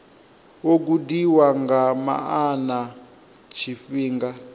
wo gudiwa nga maana tshifhinga